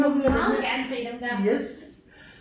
Meget gerne se dem der